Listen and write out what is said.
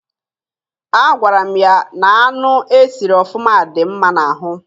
Agwara m ya na anụ e siri ọfụma dị mma n'ahụ.